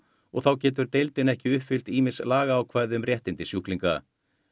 og þá getur deildin ekki uppfyllt ýmis lagaákvæði um réttindi sjúklinga